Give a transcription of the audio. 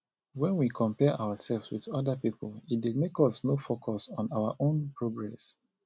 when we compare ourselves with oda pipo e dey make us no focus on our own progress